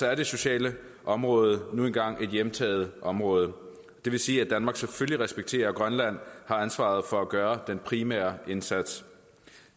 er det sociale område nu engang et hjemtaget område det vil sige at danmark selvfølgelig respekterer at grønland har ansvaret for at gøre den primære indsats